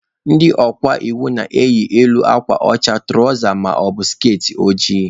Ndị ọka iwu na-eyi elu akwa ọcha na tụrawza maọbụ skertị ojii.